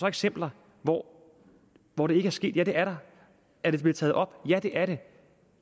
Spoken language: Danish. eksempler hvor hvor det ikke er sket ja det er der er det blevet taget op ja det er det